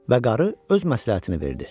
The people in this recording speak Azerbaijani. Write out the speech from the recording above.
Və qarı öz məsləhətini verdi.